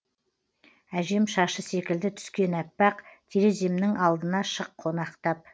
әжем шашы секілді түскен аппақ тереземнің алдына шық қонақтап